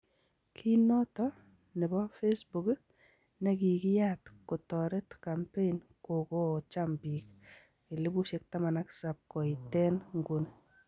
Kii noton nebo Facebook negigiyat kotoret kampein kogogocham bik 17,000 koitee nguuni.